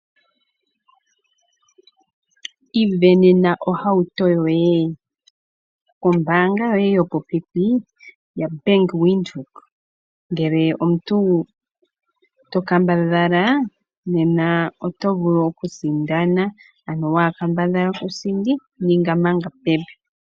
Ivenena ohauto yoye kombaanga yoye yopopepi ya Bank Windhoek ngele omuntu to kambadhala nena otovulu okusindana, ano waakambadhala kusindi ninga manga pepi .